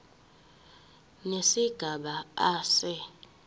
nesigaba a se